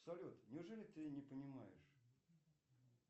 салют неужели ты не понимаешь